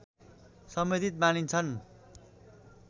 सम्बन्धित मानिन्छन्